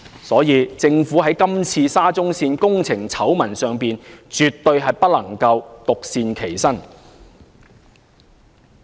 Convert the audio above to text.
所以，在今次沙中線工程醜聞上，政府絕不能獨善其身。